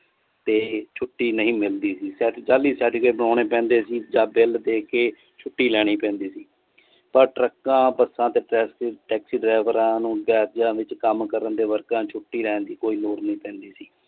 ਤੇ ਛੁੱਟੀ ਨਹੀਂ ਮਿਲਦੀ ਸੀ ਜਾਲੀ certificate ਬੋਨੈਣੇ ਪੈਂਦੇ ਸੀ ਜਾ bill ਦੇਕੇ ਛੁੱਟੀ ਲੈਣੀ ਪੈਂਦੀ ਸੀ ਪਰ ਟਰੱਕਾਂ ਬੱਸਾਂ ਤੇ taxi ਡਰਾਈਵਰਆਂ ਨੂੰ ਕੰਮ ਕਰਨ ਦੇ ਵਰਕਰਾਂ ਛੁੱਟੀ ਲੈਣ ਦੀ ਕੋਈ ਲੋੜ ਨੀ ਪੈਂਦੀ ਸੀ।